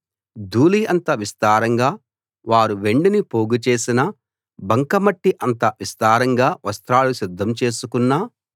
ధూళి అంత విస్తారంగా వారు వెండిని పోగు చేసినా బంక మట్టి అంత విస్తారంగా వస్త్రాలు సిద్ధం చేసుకున్నా